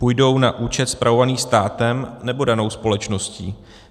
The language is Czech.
Půjdou na účet spravovaný státem, nebo danou společností?